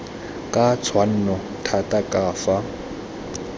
ka tshwanno thata ka fa